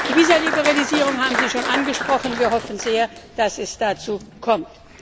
Die Visa Liberalisierung haben Sie schon angesprochen, wir hoffen sehr, dass es dazu kommt.